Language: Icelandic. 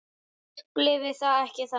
Ég upplifi það ekki þannig.